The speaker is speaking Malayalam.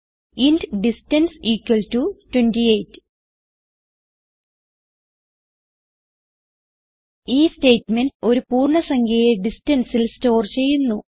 ഇന്റ് ഡിസ്റ്റൻസ് ഇക്വൽ ടോ 28 ഈ സ്റ്റേറ്റ്മെന്റ് ഒരു പൂർണ്ണ സംഖ്യയെ distanceൽ സ്റ്റോർ ചെയ്യുന്നു